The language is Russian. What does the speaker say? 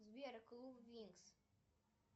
сбер клуб винкс